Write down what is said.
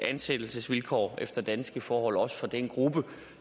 ansættelsesvilkår efter danske forhold også for den gruppe